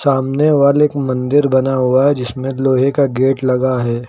सामने वाल मंदिर बना हुआ जिसमें लोहे का गेट लगा है।